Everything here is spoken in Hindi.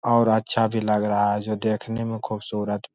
और अच्छा भी लग रहा है जो देखने में खूबसूरत--